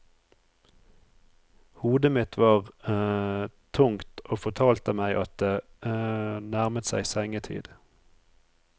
Hodet mitt var tungt og fortalte meg at det nærmet seg sengetid.